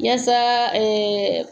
Yasa